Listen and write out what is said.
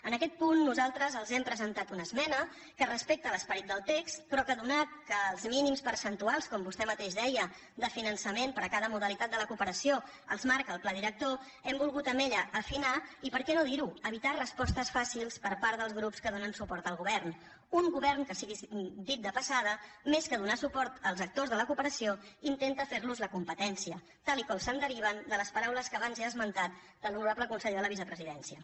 en aquest punt nosaltres els hem presentat una esmena que respecta l’esperit del text però atès que els mínims percentuals com vostè mateix deia de finançament per a cada modalitat de la cooperació els marca el pla director hem volgut amb ella afinar i per què no dir ho evitar respostes fàcils per part dels grups que donen suport al govern un govern que sigui dit de passada més que donar suport als actors de la cooperació intenta fer los la competència tal com es deriva de les paraules que abans he esmentat de l’honorable conseller de la vicepresidència